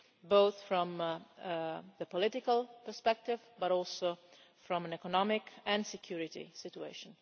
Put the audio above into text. both from the political perspective and from an economic and security situation.